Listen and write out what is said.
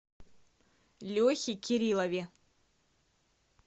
лехе кириллове